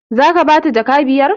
Zaka bata jaka biyar?